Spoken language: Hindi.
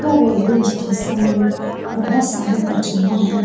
यह रेलवे स्टेशन में बहुत सारी पटरियां है।